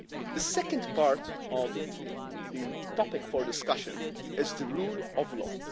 The second part of the topic for discussion is the rule of